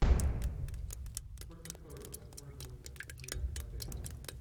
сколько стоит воспользоваться тиром в отеле